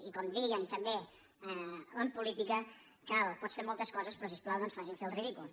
i com de·ien també en política pots fer moltes coses però si us plau no ens facin fer el ridícul